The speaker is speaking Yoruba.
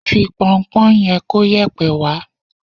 Fi pọnpọ́ yẹn kóyẹ̀pẹ̀ wá